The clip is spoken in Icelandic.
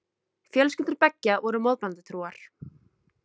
Fjölskyldur beggja voru mótmælendatrúar.